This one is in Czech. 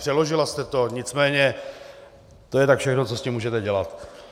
Přeložila jste to, nicméně to je tak všechno, co s tím můžete dělat.